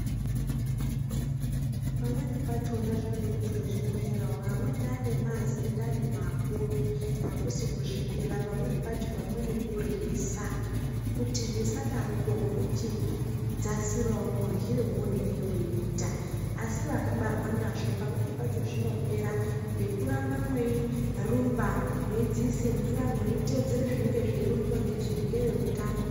Pamweni pachona zvinotode kuzviwonera, amweni vanemazindani makuru hakusi kuzvidira, pamweni pacho pamweni kuryisa. Kuti zvisadaropo unoti dzasirawo muryire woonenge woita. Asi vakabarwa nazvo pamweni pacho zvinopera ngekuramba mwerumba ,mweyidziisa mvura ,mweyitedzere zvinenge zveironzwa ngezvehutano.